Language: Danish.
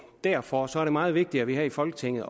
derfor er det meget vigtigt at vi her i folketinget